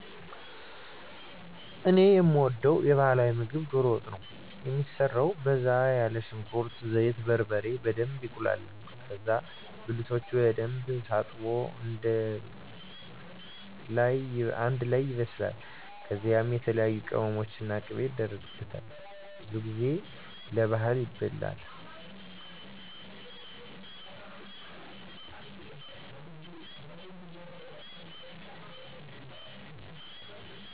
እኔ የምወደዉ የባህላዊ ምግብ ዶሮ ወጥ ነው። የሚሰራው በዛ ያለ ሽንኩርት፣ ዘይት፣ በርበሬ እና በደንብ ይቁላላል ከዛ ብልቶች በደንብ ታጥቦ አንደ ላይ ይበስላል ከዛ የተለያዬ ቅመሞች እና ቂቤ የደረጋል። ብዙ ጊዜ ለባህል ይበላል።